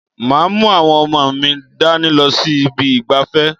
Màá mú àwọn ọmọ mi dání lọ sí ibi ìgbafẹ́.